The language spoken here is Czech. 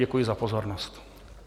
Děkuji za pozornost.